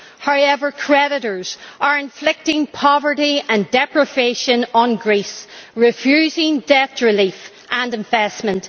However, creditors are inflicting poverty and deprivation on Greece, refusing debt relief and investment.